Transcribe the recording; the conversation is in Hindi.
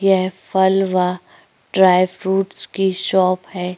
यह फलवा ड्राई फ्रूट की शॉप है।